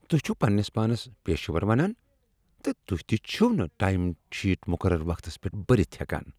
تُہۍ چھو پننِس پانس پیشور ونان تہٕ تُہۍ تہِ چھِو نہٕ ٹایم شیٹ مقرر وقتس پیٹھ بٔرِتھ ہیكان۔